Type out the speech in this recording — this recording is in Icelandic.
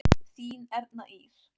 Þín Erna Ýr.